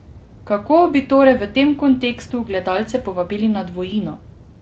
Kako bi torej v tem kontekstu gledalce povabili na Dvojino?